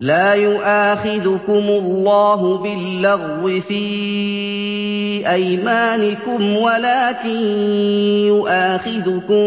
لَا يُؤَاخِذُكُمُ اللَّهُ بِاللَّغْوِ فِي أَيْمَانِكُمْ وَلَٰكِن يُؤَاخِذُكُم